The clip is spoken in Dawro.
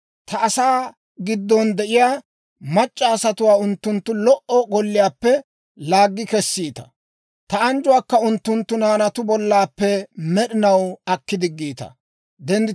ta asaa giddon de'iyaa mac'c'a asatuwaa unttunttu lo"o golliyaappe laaggi kessiita; ta anjjuwaakka unttunttu naanatu bollappe med'inaw akki diggiita.